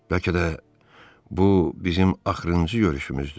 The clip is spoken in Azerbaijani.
Bəlkə də bu bizim axırıncı görüşümüzdür.